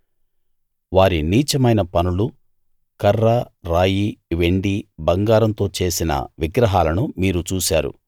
వారి నీచమైన పనులూ కర్ర రాయి వెండి బంగారంతో చేసిన విగ్రహాలను మీరు చూశారు